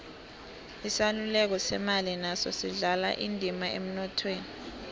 isaluleko semali naso sidlala indima emnothweni